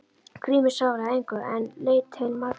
Grímur svaraði engu en leit til Margrétar.